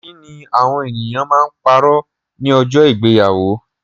Kí ni awọn eniyan ma ń pàrọ̀ ní ọjọ́ ìgbéyàwó?